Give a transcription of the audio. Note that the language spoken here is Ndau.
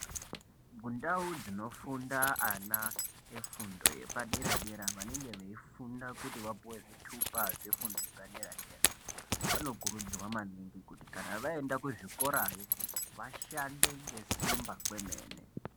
Mundau dzinofunda ana efundo yepadera dera vanenge veifunda kuti vapuwe zvitupa zvefundo yepaderadera vanokurudzirwa maningi kuti kana vaenda kuzvikorayo vashande ngesimba kwemene.